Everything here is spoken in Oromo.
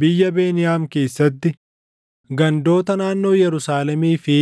biyya Beniyaam keessatti, gandoota naannoo Yerusaalemii fi